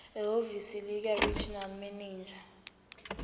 ehhovisi likaregional manager